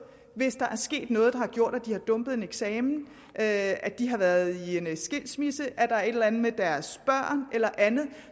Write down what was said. hvis der er sket noget der har gjort at de er dumpet til en eksamen at de har været i en skilsmisse at der er et eller andet med deres børn eller andet